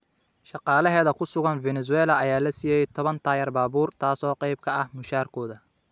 Shaqaalaheeda ku sugan Venezuela ayaa la siiyay toban taayir baabuur taasoo qayb ka ah mushaarkooda.